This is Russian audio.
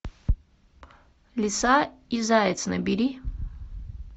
лиса и заяц набери